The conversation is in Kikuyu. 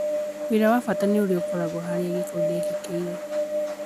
Ũira wa bata nĩ ũria ũkoragwo harĩa gĩĩko gĩekĩkĩra